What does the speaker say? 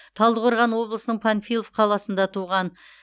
талдықорған облысының панфилов қаласында туған